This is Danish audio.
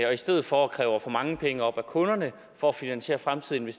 og i stedet for at kræve for mange penge op af kunderne for at finansiere fremtidige